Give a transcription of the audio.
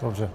Dobře.